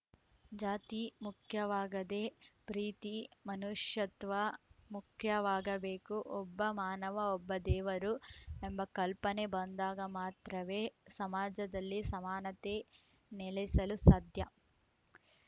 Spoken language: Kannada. ಜಾತಿ ಮುಖ್ಯವಾಗದೆ ಪ್ರೀತಿ ಮನುಷ್ಯತ್ವ ಮುಖ್ಯವಾಗಬೇಕು ಒಬ್ಬ ಮಾನವಒಬ್ಬ ದೇವರು ಎಂಬ ಕಲ್ಪನೆ ಬಂದಾಗ ಮಾತ್ರವೇ ಸಮಾಜದಲ್ಲಿ ಸಮಾನತೆ ನೆಲೆಸಲು ಸಾಧ್ಯ